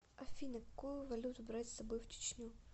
афина какую валюту брать с собой в чечню